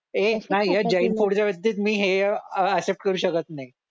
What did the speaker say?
ये नाही हा जैन फूड च्या बाबतीत मी हे अह एक्सेप्ट करू शकत नाही